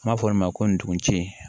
N b'a fɔ min ma ko ndugun ci